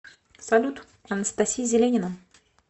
салют анастасия зеленина